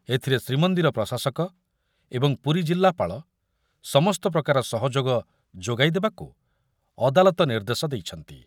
ଏଥିରେ ଶ୍ରୀମନ୍ଦିର ପ୍ରଶାସକ ଏବଂ ପୁରୀ ଜିଲ୍ଲାପାଳ ସମସ୍ତ ପ୍ରକାର ସହଯୋଗ ଯୋଗାଇଦେବାକୁ ଅଦାଲତ ନିର୍ଦ୍ଦେଶ ଦେଇଛନ୍ତି।